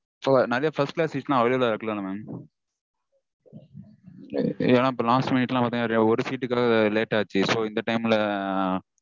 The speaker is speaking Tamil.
இப்போ நெறைய first class seat -லாம் available -ஆ இருக்குதான mam? ஏன்னா last minute -லாம் பாத்தீங்கனா ஒரு சீட்டுக்காக late ஆச்சு. So இந்த time -ல